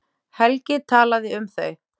Helgi talaði um þau.